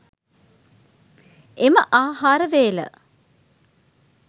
එම ආහාර වේල